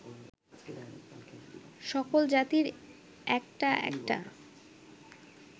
সকল জাতির একটা একটা